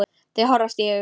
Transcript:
Þau horfast í augu.